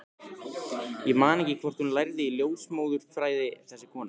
Ég man ekki hvort hún lærði ljósmóðurfræði, þessi kona.